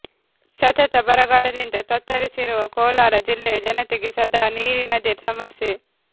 ಸತತ ಬರಗಾಲದಿಂದ ತತ್ತರಿಸಿರುವ ಕೋಲಾರ ಜಿಲ್ಲೆಯ ಜನತೆಗೆ ಸದಾ ನೀರಿನದೇ ಸಮಸ್ಯೆ